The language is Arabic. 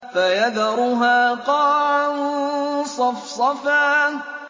فَيَذَرُهَا قَاعًا صَفْصَفًا